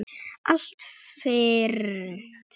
Allt fyrnt.